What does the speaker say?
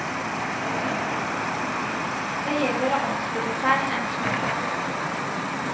Det gjelder å omstille seg en smule.